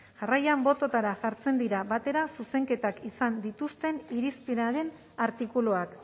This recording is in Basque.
jarraian bototara jartzen dira batera zuzenketak izan dituzten irizpenaren artikuluak